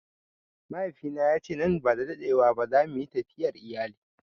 Mahaifina ya ce nan ba da dadewa ba za mu yi tafiyar iyali.